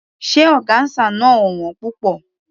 Ṣé ọgáńsà náà ò wón púpọ̀?